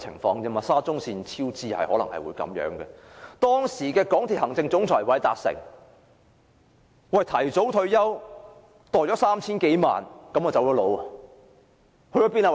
當時香港鐵路有限公司行政總裁韋達誠提早退休，收取了 3,000 多萬元後便離職。